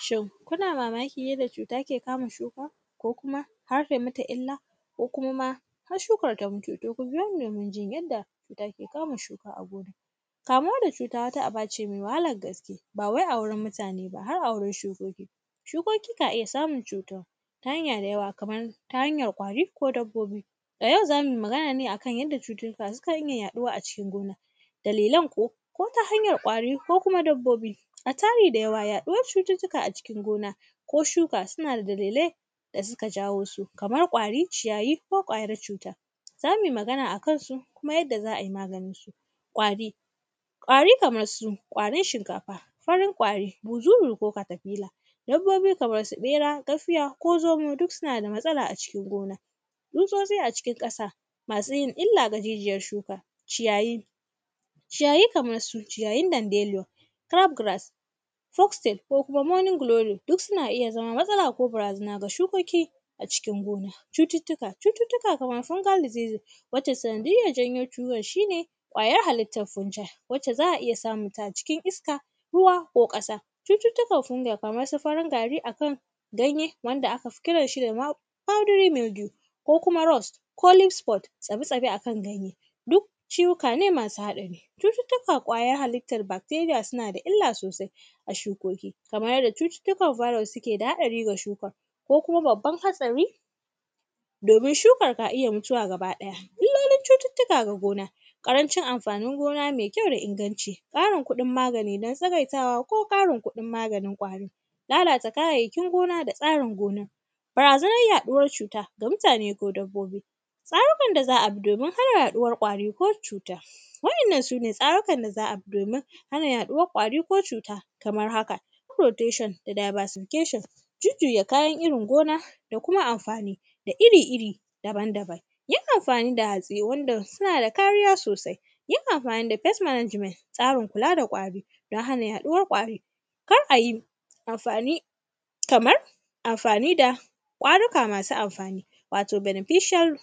Shin, kuna mamakin yadda cuta ke kama shuka ko kuma har tai mata illa ko kuma ma har shukar ta mutu? To ku biyo ni domin jin yadda cuta ke kama shuka a gona. Kamuwa da cuta, wata aba ce me wahalar gaske, wai a wurin mutane ba, har a wurin shukoki. Shukoki ka iya samun cutuwa ta hanya da yawa, kamar ta hanyar ƙwari ko dabbobi. A yau, za mui magan ne a kan yadda cututtuka sukan iya yaɗuwa a cikin gona, dalilan kuwa, ko ta hanyan ƙwari ko kuma dabbobi. A tari da yawa, yaɗuwar cututtuka a cikin gona ko shuka, suna da dalilai da suka jawo su, kamar ƙwari, ciyayi ko ƙwayar cuta, za mui magana a kan su da kuma yadda za ai maganin su. Ƙwari, ƙwari kamar su ƙwarin shinkafa, farin ƙwari, buzuzu ko katafila. Dabbobi, kamar su ƃera, gafiya ko zomo, duk suna da matsala a cikin gona. Tsutsotsi a cikin ƙasa, masu yin illa ga jijiyar shuka. Ciyayi, ciyayi kamar su ciyayin danbelo, “tayab grass”, “trostate” ko kuma “morning glory”, duk suna iya zama matsala ko barazana ga shukoki a cikin gona. Cututtuka, cututtuka kamar “fungalizezi” wacce sanadiyyar janyo ciwon shi ne, ƙwayar halittar “fungy” wacce za a iya samun ta a cikin iska, ruwa ko ƙasa. Cututtukan “fungy” kamar su kamar su farin gari a kan ganye wanda aka fi kiran shi da wab; “fradery megue” ko kuma “rast” ko “linskpot”, tsabi-tsabi a kan ganye, duk ciwuka ne masu haɗari. Cututtukan ƙwayar halittar bakteriya, suna da illa sosai a shukoki, kamar yadda cututtukan zamani suke da haɗari ga shuka. Ko kuma, babban hatsari, domin shukar ka iya mutuwa gabaɗaya. Illolin cututtuka ga gona, ƙarancin amfanin gona me kyau da inganci, ƙarin kuɗin magani don tsagaitawa ko ƙarin kuɗin maganin ƙwari, lalata kayayyakin gona da tsarin gona. Barazanar yaɗuwar cuta ga mutane ko dabbobi, tsarukan da za a bi domin hana yaɗuwar ƙwari ko cuta. Waɗannan, su ne tsarukan da za a bi domin hana yaɗuwar ƙwari ko cuta kamar haka, “protation” da “diversification”, jujjuya kayan irin gona da kuma amfani, da iri-iri daban-daban. Yin amfani da hatsi wanda suna da kariya sosai, yin amfani da “first management”, tsarin kula da ƙwari, don hana yaɗuwar ƙwari. Kar a yi amfani; kamar amfani da ƙwaruka masu amfani wato “beneficial